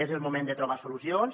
és el moment de trobar solucions